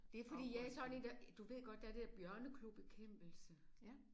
Det fordi jeg er sådan en der du ved godt der er det der bjørneklobekæmpelse